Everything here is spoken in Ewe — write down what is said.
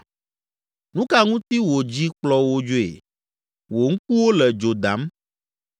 Nu ka ŋuti wò dzi kplɔ wò dzoe, wò ŋkuwo le dzo dam,